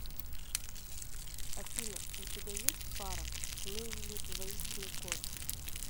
афина у тебя есть пара ну или двоичный код